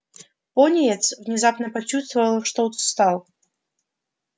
пониетс внезапно почувствовал что устал